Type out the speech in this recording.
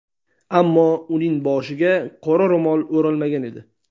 Ammo uning boshiga qora ro‘mol o‘ralmagan edi.